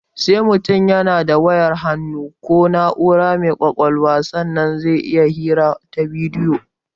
Sai mutum yana da wayar hannu ko na'ura mai ƙwaƙalwa sannan zai iya hira ta bidiyo